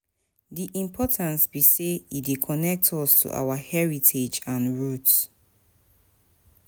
di importance be say e dey connect us to our heritage and roots?